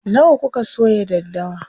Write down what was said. Nawa kuka soya daddawa?